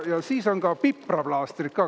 Ja siis on ka pipraplaastrid.